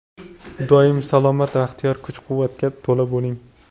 Doim salomat, baxtiyor, kuch-quvvatga to‘la bo‘ling!